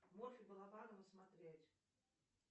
морфий балабанова смотреть